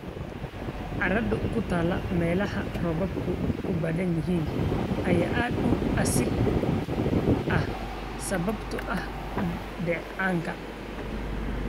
Carrada ku taal meelaha roobabku ku badan yihiin ayaa aad u acidic ah sababtoo ah dheecaanka.